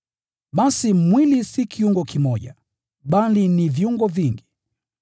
Basi mwili si kiungo kimoja, bali ni viungo vingi.